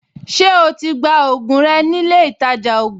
Ṣé o ti gba ògùn rẹ nílé ìtajà ògùn?